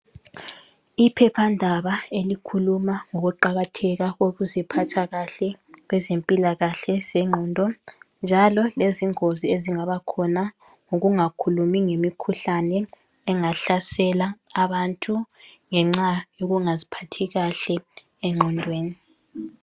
Iphephandaba elikhuluma ngokuqakatheka kokuziphatha kahle kwezempilakahle zengqondo njalo lezingozi ezingabakhona ngokungakhulumi ngemikhuhlane engahlasela abantu ngenxa yokungaziphatha kahle engqondweni.